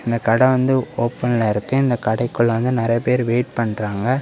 இந்த கடை வந்து ஓபன்ல இருக்கு. இந்த கடைககுள்ள வந்து நெறைய பேர் வெயிட் பண்றாங்க.